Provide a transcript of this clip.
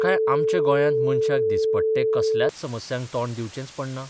काय आमच्या गोंयांत मनशाक दिसपट्टे कसल्याच समस्यांक तोंड दिवचेंच पडना?